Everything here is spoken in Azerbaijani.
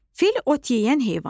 Fil ot yeyən heyvandır.